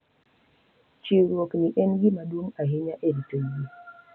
Chiwruok ni en gima duong’ ahinya e rito yie